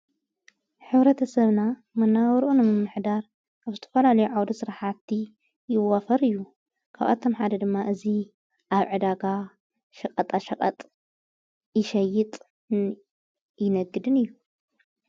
ኅውረተሰብና መናውርኦ ኖምምኅዳር ኣብ ስተፈልልዮዓውዶ ሥረሓቲ ይወፈር እዩ ካብኣቶም ሓደ ድማ እዙ ኣብ ዕዳጋ ሽቐጣ ሽቐጥ ይሸይጥ ይነግድን እዩ።